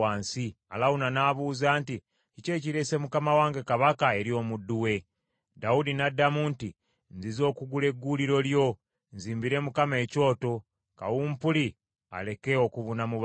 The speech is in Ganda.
Alawuna n’abuuza nti, “Kiki ekireese mukama wange kabaka eri omuddu we?” Dawudi n’addamu nti, “Nzize okugula egguuliro lyo, nzimbire Mukama ekyoto, kawumpuli aleke okubuna mu bantu.”